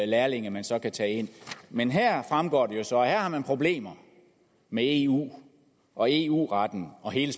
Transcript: lærlinge man så kan tage ind men her fremgår det så at man har problemer med eu og eu retten og hele